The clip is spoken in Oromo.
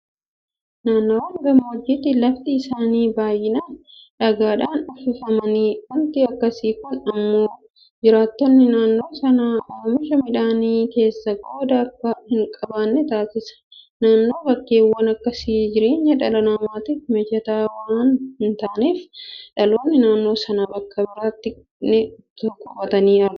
Naannoowwan gammoojjiitti lafti isaanii baay'inaan dhagaadhaan uffifamaadha. Waanti akkasii kun immoo jiraattonni naannoo sanaa oomisha midhaanii keessaa qooda akka hinqabaanne taasisa. Kanaaf bakkeewwan akkasii jireenya dhala namaatiif mijataa waanta hintaaneef dhalattoonni naannoo sanaa bakka biraatti itoo baqatanii agarra.